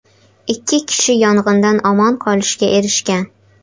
Ikki kishi yong‘indan omon qolishga erishgan.